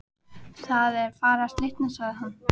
Það er farið að slitna sagði hann.